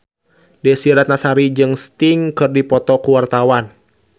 Desy Ratnasari jeung Sting keur dipoto ku wartawan